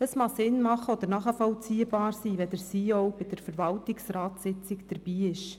Es kann sinnvoll oder nachvollziehbar sein, dass der CEO an der Verwaltungsratssitzung dabei ist.